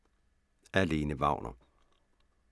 Af Lene Wagner